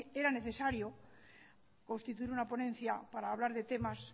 era necesario constituir una ponencia para hablar de temas